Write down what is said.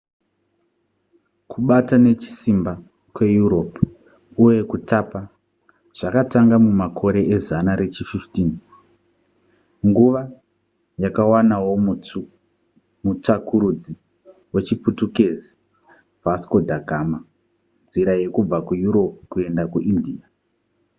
kubata nechisimba kweeurope uye kutapa zvakatanga mumakore ezana rechi15 nguva yakawanawo mutsvakurudzi wechiputukezi vasco da gama nzira yekubva kueurope kuenda kuindia